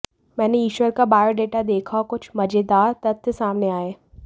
मैंने ईशर का बायोडेटा देखा और कुछ मजेदार तथ्य सामने आए